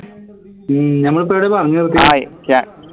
ഉം നമ്മൾ ഇപ്പൊ എവിടെയാ പറഞ്ഞു നിർത്തിയേ